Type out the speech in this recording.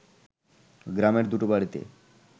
গ্রামের দুটো বাড়িতে